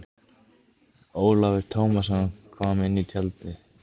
Ólafur Tómasson kom inn í tjaldið.